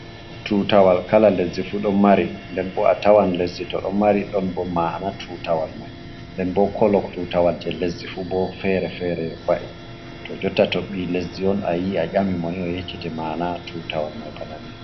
Tutawal kala lesdi fu ɗon mari nden bo a tawan lesdi to ɗon mari ɗon bo mana tutawal mai, nden bo kolo tutawal je lesdi fu bo fere-fere wa'i, to jotta to ɓi lesdi on a yii a ƴami mo ni o yeccete mana tutawal mai bana ni.